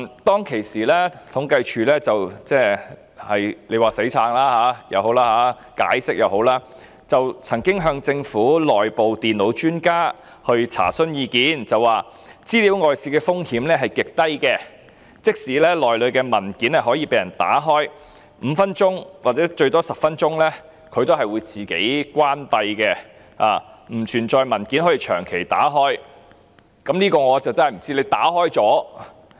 當時統計處表示——說是"死撐"也好，解釋也好——曾經向政府內部電腦專家查詢，所得的意見是資料外泄的風險極低，即使平板電腦內的文件可以被人打開，但平板電腦在5分鐘或最多10分鐘後便會自動關閉，不能長時間把文件打開。